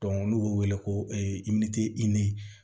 n'u b'o wele ko